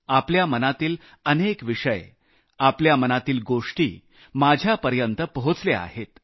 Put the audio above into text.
आपल्या मनातील अनेक विषय आपल्या मनातील गोष्टी माझ्यापर्यंत पोहचल्या आहेत